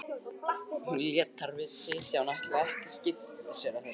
Hún lét þar við sitja því hún ætlaði ekki að skipta sér af þessu.